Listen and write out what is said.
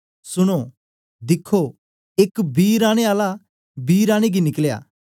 सुनो दिखो एक बी राने आला बी राने गी निकलया